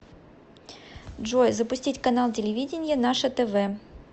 джой запустить канал телевидения наше тв